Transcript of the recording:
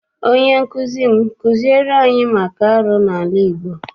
Onye nkụzi m kụziere anyị maka arụ n'ala Igbo.